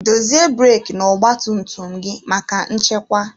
Dezie breki n'ọgba tum tum gị maka nchekwa.